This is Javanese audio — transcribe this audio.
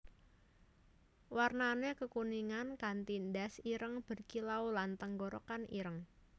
Warnané kekuningan kanti ndas ireng berkilau lan tenggorokan ireng